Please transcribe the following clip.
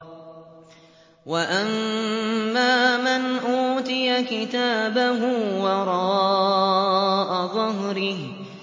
وَأَمَّا مَنْ أُوتِيَ كِتَابَهُ وَرَاءَ ظَهْرِهِ